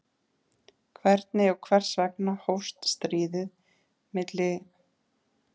Hvernig og hvers vegna hófst stríðið milli Tsjetsjena og Rússa?